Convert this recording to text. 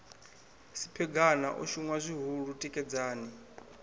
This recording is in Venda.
siphegana o shunwa zwihulu tikedzani